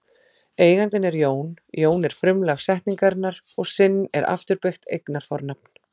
Eigandinn er Jón, Jón er frumlag setningarinnar og sinn er afturbeygt eignarfornafn.